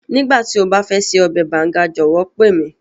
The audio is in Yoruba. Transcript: Nígbàtí o ba fẹ ṣe ọbẹ̀ Banga jọ̀wọ́ pe mi.